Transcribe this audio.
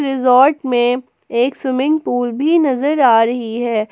Resort में एक swimming pool भी नजर आ रही है।